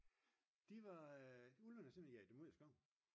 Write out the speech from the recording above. de var ulvene har simpelthen jaget dem ud af skoven